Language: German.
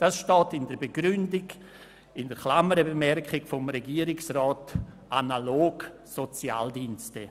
Dies steht als «analog Sozialdienste» in einer Klammerbemerkung in der Begründung des Regierungsrats.